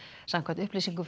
samkvæmt upplýsingum